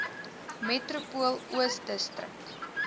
metropool oos distrik